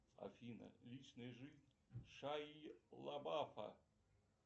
афина личная жизнь шайи лабафа